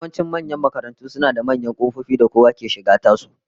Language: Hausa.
Yawancin manyan makarantu suna da manyan kofofi da kowa yake shiga tasu